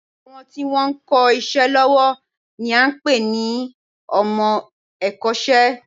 Àwọn tí wọn ń kọ́ iṣẹ́ lọ́wọ́ ni à ń pè ní ọmọ ẹ̀kọ́ṣẹ́